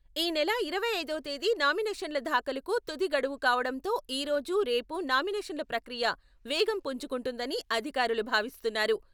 ఈ నెల ఇరవై ఐదవ తేదీ నామినేషన్ల దాఖలుకు తుది గడువు కావడంతో ఈ రోజు, రేపు నామినేషన్ల ప్రక్రియ వేగం పుంజుకుంటుందని అధికారులు భావిస్తున్నారు.